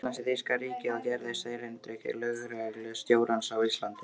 Íslands í þýska ríkið og gerðist erindreki lögreglustjórans á Íslandi.